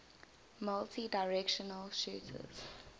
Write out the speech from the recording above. multidirectional shooters